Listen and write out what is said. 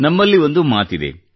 ನಮ್ಮಲ್ಲಿ ಒಂದು ಮಾತಿದೆ